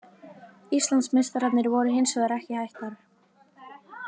Íslandsmeistararnir voru hins vegar ekki hættar.